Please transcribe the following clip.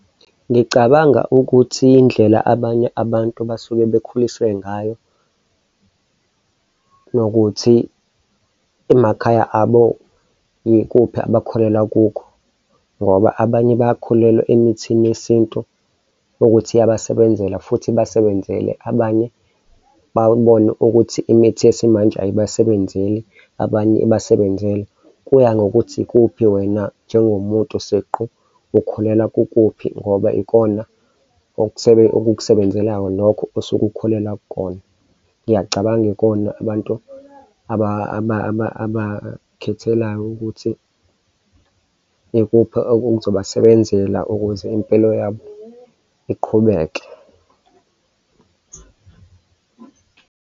Ngicabanga ukuthi indlela abanye abantu abasuke bakhuliswe ngayo nokuthi emakhaya abo yikuphi abakholelwa kukho ngoba abanye bayakholelwa emithini yesintu ukuthi iyabasebenzela futhi ibasebenzele, abanye babone ukuthi imithi yesimanje ayibasebenzeli abanye ibasebenzele. Kuya ngokuthi ikuphi wena njengomuntu siqu ukholelwa kukuphi ngoba ikona okukusebenzelayo mokho osuke ukukholelwa kukona. Ngiyacabanga ikona abantu abay'khethelayo ukuthi ikuphi, okuzobasebenzela ukuze impilo yabo iqhubeke.